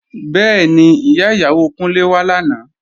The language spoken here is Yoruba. Bẹ́ẹ̀ni, Ìyá ìyàwó Kúnlé wá làná